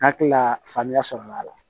Hakili la faamuya sɔrɔla a la